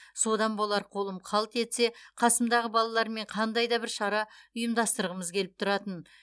содан болар қолым қалт етсе қасымдағы балалармен қандай да бір шара ұйымдастырғымыз келіп тұратын